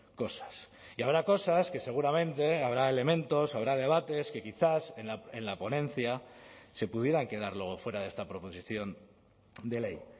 cosas y habrá cosas que seguramente habrá elementos habrá debates que quizás en la ponencia se pudieran quedar luego fuera de esta proposición de ley